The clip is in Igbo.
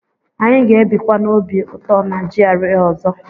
Anyị ga-ebikwa n'obi ụtọ na GRA ọzọ.